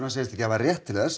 segist ekki hafa rétt til þess